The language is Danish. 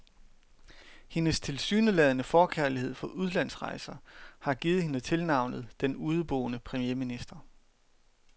Hendes tilsyneladende forkærlighed for udlandrejser har givet hende tilnavnet den udeboende premierminister.